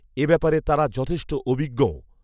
এ ব্যাপারে তারা যথেষ্ট অভিজ্ঞও